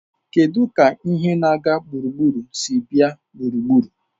Kedu ka ihe na-aga gburugburu si abịa gburugburu?